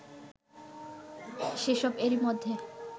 সেসব এরই মধ্যে